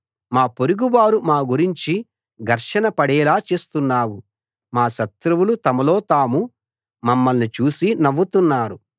మా పొరుగువారు మా గురించి ఘర్షణ పడేలా చేస్తున్నావు మా శత్రువులు తమలోతాము మమ్మల్ని చూసి నవ్వుతున్నారు